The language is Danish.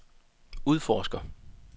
udforsker